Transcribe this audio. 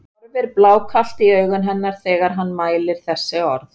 Hann horfir blákalt í augu hennar þegar hann mælir þessi orð.